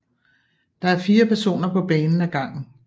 Der er fire personer på banen af gangen